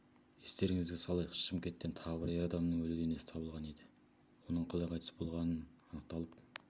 естеріңізге салайық шымкенттен тағы бір ер адамның өлі денесі табылған еді оның қалай қайтыс болғаны анықталып